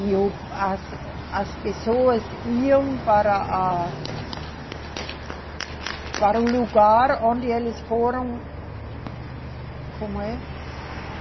E o, as, as pessoas iam para a, para o lugar onde eles foram... Como é?